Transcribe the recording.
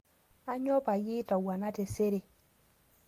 Aanyo payie itowuana tesere